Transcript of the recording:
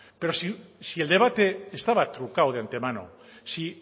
pero si el debate estaba trucado de antemano si